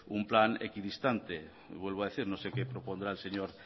un plan equidistante y vuelvo a decir no sé qué propondrá el señor